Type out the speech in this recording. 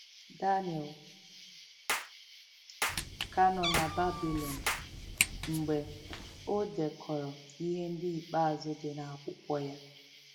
Daniel ka nọ na Babịlọn mgbe o dekọrọ ihe ndị ikpeazụ dị n’akwụkwọ ya.